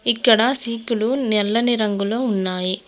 ఇక్కడ సీకులు నెల్లని రంగులో ఉన్నాయి.